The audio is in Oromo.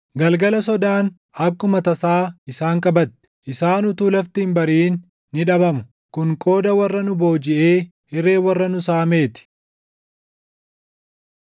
Galgala sodaan akkuma tasaa isaan qabatti! Isaan utuu lafti hin bariʼin ni dhabamu! Kun qooda warra nu boojiʼee, hiree warra nu saamee ti.